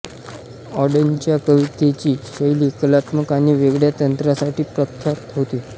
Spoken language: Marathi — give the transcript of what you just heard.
ऑडेनच्या कवितेची शैली कलात्मक आणि वेगळ्या तंत्रासाठी प्रख्यात होती